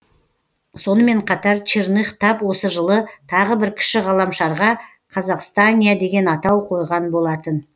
сонымын қатар черных тап осы жылы тағы бір кіші ғаламшарға қазақстания деген атау қойған болатын